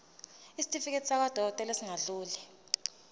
isitifiketi sakwadokodela esingadluli